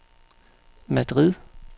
Madrid